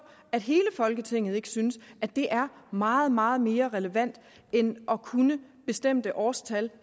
at hele folketinget ikke synes at det er meget meget mere relevant end at kunne bestemte årstal